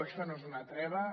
això no és una treva